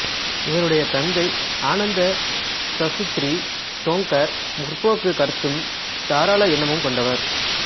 இவருடைய தந்தை ஆனந்த சாசுத்திரி டோங்கர் முற்போக்குக் கருத்தும் தாராள எண்ணமும் கொண்டவர்